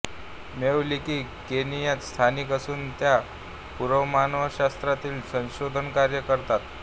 Meave Leakey केनियात स्थायिक असून त्या पुरामानवशास्त्रात संशोधनकार्य करतात